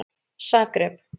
Zagreb